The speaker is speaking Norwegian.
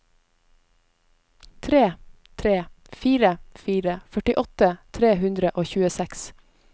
tre tre fire fire førtiåtte tre hundre og tjueseks